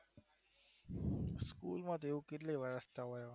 School માં તો હવે કેટલા વર્ષ થયા